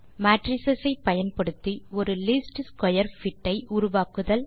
matrix ஐ பயன்படுத்தி ஒரு லீஸ்ட் ஸ்க்வேர் பிட் ஐ உருவாக்குதல்